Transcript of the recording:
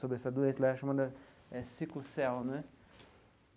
sobre essa doença lá, chamada sickle cell né.